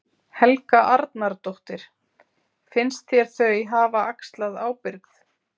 Helga Arnardóttir: Finnst þér þau hafa axlað ábyrgð?